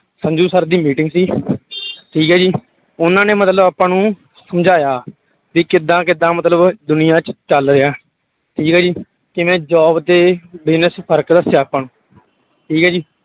Sanju sir ਦੀ meeting ਸੀ ਠੀਕ ਹੈ ਜੀ ਉਹਨਾਂ ਨੇ ਮਤਲਬ ਆਪਾਂ ਨੂੰ ਸਮਝਾਇਆ ਵੀ ਕਿੱਦਾਂ ਕਿੱਦਾਂ ਮਤਲਬ ਦੁਨੀਆਂ ਚ ਚੱਲ ਰਿਹਾ, ਠੀਕ ਹੈ ਜੀ ਜਿਵੇਂ job ਤੇ business ਚ ਫ਼ਰਕ ਦੱਸਿਆ ਆਪਾਂ ਨੂੰ ਠੀਕ ਹੈ ਜੀ।